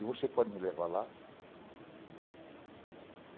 E você pode me levar lá?